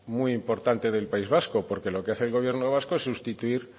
muy importante del país vasco porque lo que hace el gobierno vasco sustituir